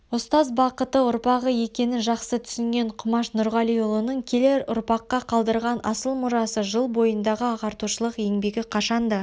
ұстаз бақыты ұрпағы екенін жақсы түсінген құмаш нұрғалиұлының келер ұрпаққа қалдырған асыл мұрасы жыл бойындағы ағартушылық еңбегі қашанда